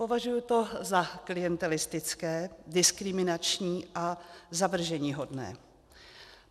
Považuji to za klientelistické, diskriminační a zavrženíhodné.